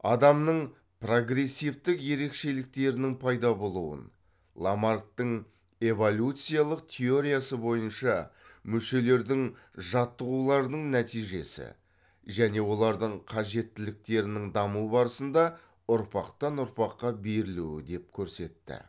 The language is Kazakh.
адамның прогрессивтік ерекшеліктерінің пайда болуын ламарктың эволюциялық теориясы бойынша мүшелердің жаттығуларының нәтижесі және олардың қажеттеліктерінің даму барысында ұрпақтан ұрпаққа берілуі деп көрсетті